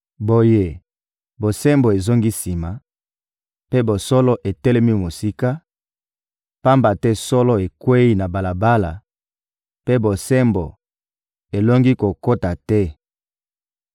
Boye, bosembo ezongi sima, mpe bosolo etelemi mosika; pamba te solo ekweyi na balabala, mpe bosembo elongi kokota te.